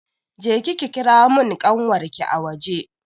Je ki ki kira mun ƙanwarki a waje!